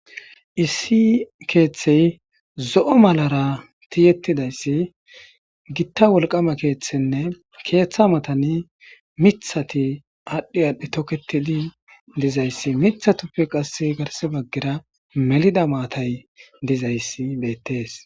Issi keththey zo'o maalara tiyettidassi giita wolqamma keththtene keththa mattan miththati adhi adhi tookettidi diizayssi miththuppe qasse garssera baggera mellida maatay deiizayssi bettes.